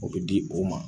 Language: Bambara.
O bɛ di o ma